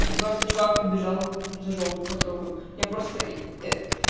просто чувак побежал за жопу потрогал я просто